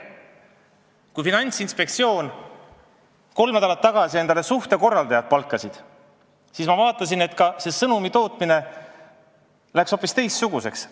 Kui Finantsinspektsioon kolm nädalat tagasi endale suhtekorraldaja palkas, siis nende sõnumi tootmine läks hoopis teistsuguseks.